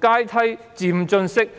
階梯式、漸進式的。